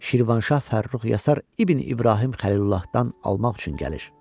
Şirvanşah Fərrux Yasar İbn İbrahim Xəlilullahdan almaq üçün gəlir.